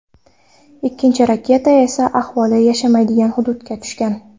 Ikkinchi raketa esa aholi yashamaydigan hududga tushgan.